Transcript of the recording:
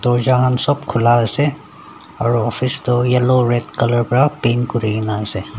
dorja khan sop khula ase aro office toh yellow red colour para paint kurikae naase.